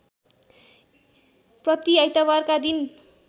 प्रति आइतबारका दिन